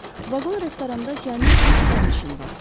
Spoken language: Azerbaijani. Vaqon-restoranda cəmi bir sərnişin vardı.